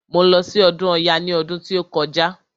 Mo lọ sí ọdún ọya ní ọdún tí ó kọjá.